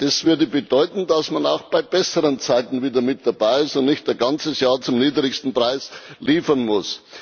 Das würde bedeuten, dass man auch bei besseren Zeiten wieder mit dabei ist und nicht ein ganzes Jahr zum niedrigsten Preis liefern muss.